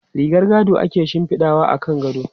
Rigar gado ake shifidawa akan gado.